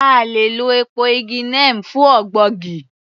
A le è lọ èpo igi neem fún ògbógi